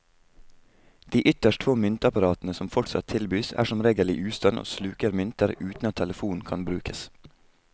De ytterst få myntapparatene som fortsatt tilbys, er som regel i ustand og sluker mynter uten at telefonen kan brukes.